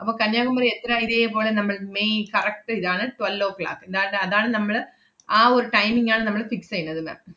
അപ്പം കന്യാകുമരി എത്ര ഇതേപോലെ നമ്മൾ മെയ് correct ഇതാണ്, twelve oh clock ദാ~ ~ത് അതാണ് നമ്മള് ആ ഒരു timing ആണ് നമ്മള് fix എയ്യുന്നത് ma'am.